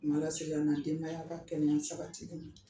se ka n ka denbaya ka kɛnɛya sabatili ma